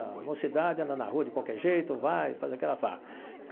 A mocidade anda na rua de qualquer jeito, vai e faz aquela farra.